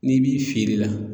N'i b'i feere la